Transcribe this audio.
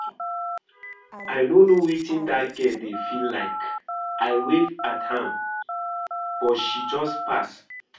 I no know wetin dat girl dey feel like. I wave at am but she just pass